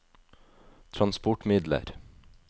transportmidler